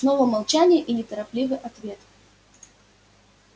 снова молчание и неторопливый ответ